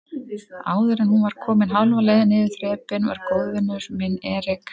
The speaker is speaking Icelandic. Áðuren hún var komin hálfa leið niður þrepin var góðvinur minn Erik